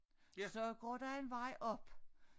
Så går der en vej op